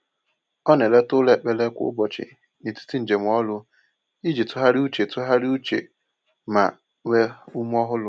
O na-eleta ụlọ ekpere kwa ụbọchị n’etiti njem ọrụ iji tụgharịa uche tụgharịa uche ma nwee ume ọhụrụ.